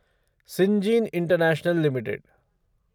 Syngene International limited